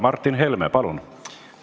Martin Helme, palun!